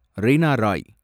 Reena Rai